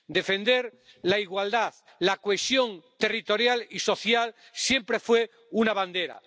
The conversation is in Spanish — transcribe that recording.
Defender la igualdad y la cohesión territorial y social siempre fue una bandera.